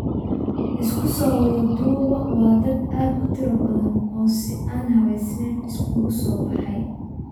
Isku soo wada duuboo waa dad aad u tiro badan oo si an habaysanen isugu soo baxay.